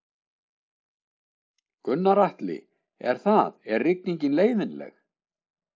Gunnar Atli: Er það, er rigningin leiðinleg?